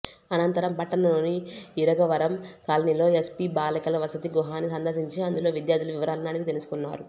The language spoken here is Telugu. అనంతరం పట్టణంలోని ఇరగవరం కాలనీలో ఎస్సీ బాలికల వసతి గృహాన్ని సందర్శించి అందులో విద్యార్థుల వివరాలను అడిగి తెలుసుకున్నారు